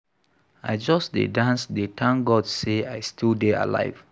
I just dey dance, dey thank God say I still dey alive